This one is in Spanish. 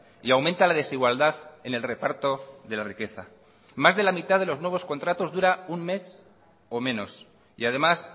y aumenta la desigualdad en el reparto de la riqueza más de la mitad de los nuevos contratos dura un mes o menos y además